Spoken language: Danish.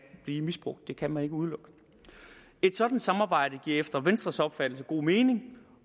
blive misbrugt det kan man ikke udelukke et sådant samarbejde giver efter venstres opfattelse god mening